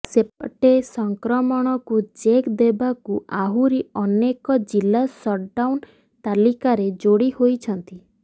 ସେପଟେ ସଂକ୍ରମକୁ ଚେକ୍ ଦେବାକୁ ଆହୁରି ଅନେକ ଜିଲ୍ଲା ସଟଡାଉନ୍ ତାଲିକାରେ ଯୋଡ଼ି ହୋଇଛନ୍ତି